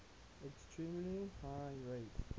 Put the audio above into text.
extremely high rates